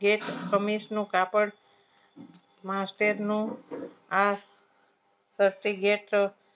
કે ખમીસનું કાપડ master નું આ